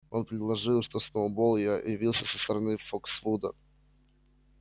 он предложил что сноуболл я явился со стороны фоксвуда